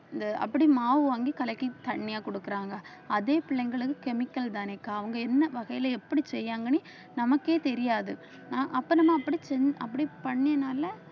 இந்த அப்படி மாவு வாங்கி கலக்கி தண்ணியா கொடுக்குறாங்க அதே பிள்ளைங்களுக்கு chemical தானேக்கா அவங்க என்ன வகையில எப்படி செய்யாங்கன்னே நமக்கே தெரியாது ஆஹ் அப்ப நம்ம அப்படி செஞ்~ அப்படி பண்ணினால